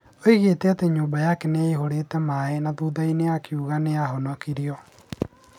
Oigire atĩ nyũmba yake nĩ yaihũrĩte maaĩ na thutha-inĩ akiuga atĩ nĩ ahonokirio.